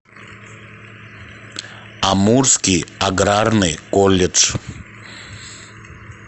амурский аграрный колледж